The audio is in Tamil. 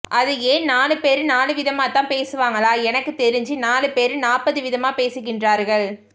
அது ஏன் நாலு பேரு நாலுவிதமாதான் பேசுவாங்களா எனக்கு தெரிஞ்சி நாலு பேரு நாப்பது விதமாக பேசுகின்றார்கள்